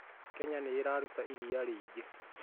Kenya nĩ ĩraruta iria rĩingĩ